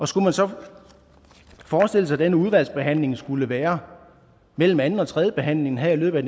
skulle man så forestille sig at den udvalgsbehandling skulle være mellem anden og tredjebehandlingen her i løbet af